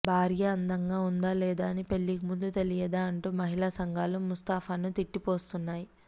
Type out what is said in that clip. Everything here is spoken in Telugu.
భార్య అందంగా ఉందా లేదా అని పెళ్లికి ముందు తెలియదా అంటూ మహిళా సంఘాలు ముస్తఫాను తిట్టిపోస్తున్నాయి